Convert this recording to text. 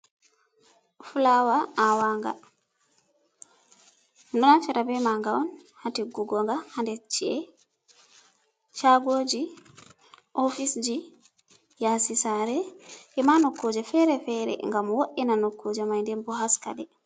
Fulawa awa nga, minɗo naftira be ma nga on hatiggugo haci'eji, caagoji, ofisji, yasi sare, ema nokkuje fere-fere ngam wod’ina nokkuje mai denbo haskaɗe.